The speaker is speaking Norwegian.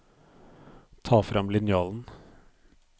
Ta frem linjalen